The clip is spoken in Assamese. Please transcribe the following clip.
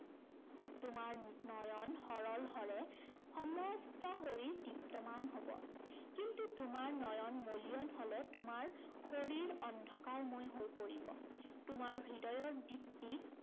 তোমাৰ নয়ন সৰল হলে সমস্ত শৰীৰ দীপ্তমান হব। কিন্তু তোমাৰ নয়ন মলিয়ন হলে তোমাৰ শৰীৰ অন্ধকাৰময় হৈ পৰিব। তোমাৰ হৃদয়ৰ দীপ্তিক